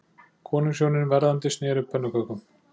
Konungshjónin verðandi sneru pönnukökum